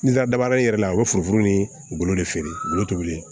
N'i taara dabarani yɛrɛ la u bɛ foro min u golo de feere golo tɛ wuli